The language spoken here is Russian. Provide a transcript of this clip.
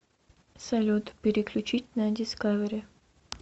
салют переключить на дискавери